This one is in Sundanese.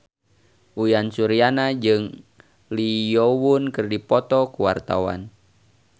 Uyan Suryana jeung Lee Yo Won keur dipoto ku wartawan